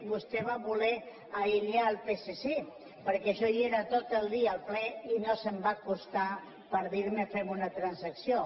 vostè va voler aïllar el psc perquè jo vaig ser tot el dia al ple i no se’m va acostar per dirme fem una transacció